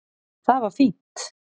Það var fínt.